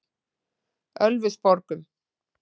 Ölfusborgum